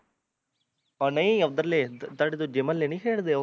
ਓਹ ਨਹੀਂ ਓਧਰਲੇ ਤੁਹਾਡੇ ਦੂਜੇ ਮਹੋਲੇ ਨੀ ਖੇਡਦੇ ਓਹ